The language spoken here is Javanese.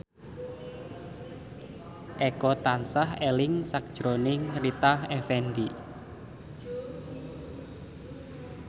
Eko tansah eling sakjroning Rita Effendy